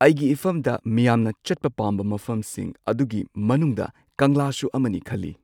ꯑꯩꯒꯤ ꯏꯐꯝꯗ ꯃꯤꯌꯥꯝꯅ ꯆꯠꯄ ꯄꯥꯝꯕ ꯃꯐꯝꯁꯤꯡ ꯑꯗꯨꯒꯤ ꯃꯅꯨꯡꯗ ꯀꯪꯂꯥꯁꯨ ꯑꯃꯅꯤ ꯈꯜꯂꯤ꯫